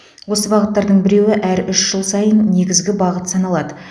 осы бағыттардың біреуі әр үш жыл сайын негізгі бағыт саналады